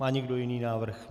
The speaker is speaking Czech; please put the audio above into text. Má někdo jiný návrh?